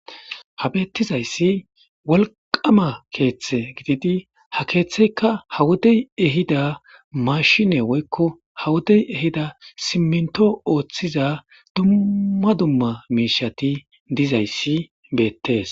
ha beettizayssi wolqama keeththe gididi ha keeththeyka hawodey ehida mashine woykko hawodey ehida simminto ooththiza dumma dumma meishati dizayssi beettees